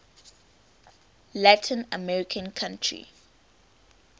latin american country